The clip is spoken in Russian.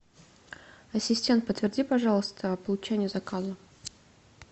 ассистент подтверди пожалуйста получение заказа